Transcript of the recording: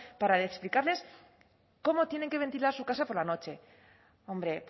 para explicarles cómo tienen que ventilar su casa por la noche hombre